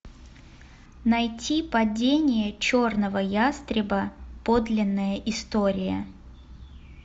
найти падение черного ястреба подлинная история